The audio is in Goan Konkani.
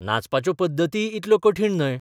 नाचपाच्यो पद्दतीय इतल्यो कठीण न्हय.